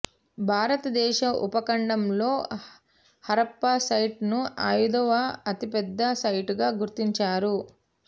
భారతదేశ ఉపఖండంలో హరప్పా సైట్ ను అయిదవ అతిపెద్ద సైట్ గా గుర్తించారు